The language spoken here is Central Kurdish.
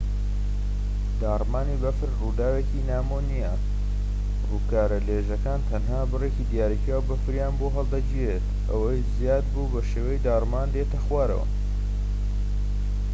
داڕمانی بەفر ڕووداوێکی ناومۆ نیە ڕووکارە لێژەکان تەنها بڕێکی دیاریکراو بەفریان بۆ هەڵدەگیرێت ئەوەی زیاد بوو بەشێوەی داڕمان دێتە خوار